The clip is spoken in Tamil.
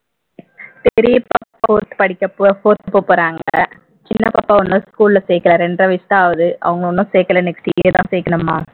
பெரிய பாப்பா fourth படிக் fourth போக போறாங்க சின்ன பாப்பாவ இன்னும் school ல சேர்க்கல இரண்டரை வயசுதான் ஆகுது அவங்கள இன்னும் சேர்க்கல next year தான் சேர்க்கணும்மா